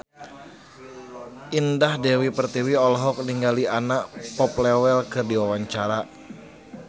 Indah Dewi Pertiwi olohok ningali Anna Popplewell keur diwawancara